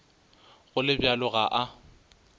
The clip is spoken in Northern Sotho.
go le bjalo ga a